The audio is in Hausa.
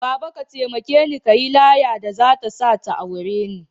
Baba! ka taimakeni kayi laya da zata sa ya aure ni